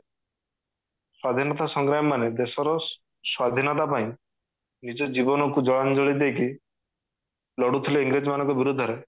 ସ୍ଵାଧୀନତା ସଂଗ୍ରାମୀ ମାନେ ଦେଶର ସ୍ଵାଧୀନତା ପାଇଁ ନିଜ ଜୀବନ କୁ ଜଳାଞ୍ଜଳି ଦେଇକି ଲଢୁଥିଲେ ଇଂରେଜ ମାନଙ୍କ ବିରୁଦ୍ଧରେ